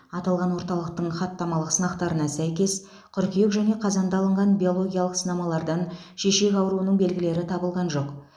аталған орталықтың хаттамалық сынақтарына сәйкес қыркүйек және қазанда алынған биологиялық сынамалардан шешек ауруының белгілері табылған жоқ